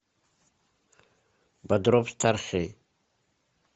бодров старший